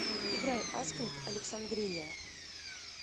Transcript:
играй аскин александрия